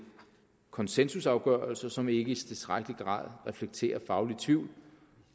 konsensusafgørelser som ikke i tilstrækkelig grad reflekterer faglig tvivl